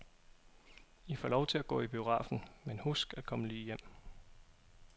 I får lov til at gå i biografen, men husk at komme lige hjem.